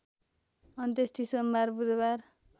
अन्त्येष्टि सोमबार बुधबार